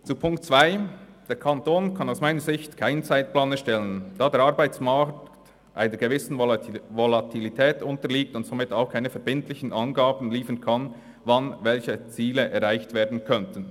Zu Ziffer 2: Der Kanton kann aus meiner Sicht keinen Zeitplan erstellen, da der Arbeitsmarkt einer gewissen Volatilität unterliegt und somit auch keine verbindlichen Angaben liefern kann, wann welche Ziele erreicht werden könnten.